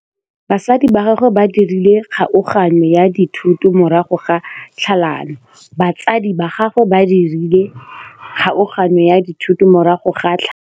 Batsadi ba gagwe ba dirile kgaoganyô ya dithoto morago ga tlhalanô.